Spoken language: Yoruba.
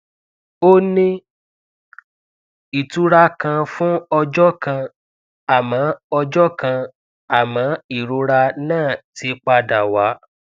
ó ní ìtura kan fún ọjọ kan àmọ ọjọ kan àmọ ìrora náà ti padà wá